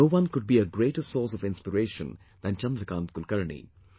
No one could be a greater source of inspiration than Chandrakant Kulkarni